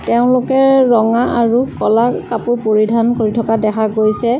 তেওঁলোকে ৰঙা আৰু ক'লা কাপোৰ পৰিধান কৰি থকা দেখা গৈছে।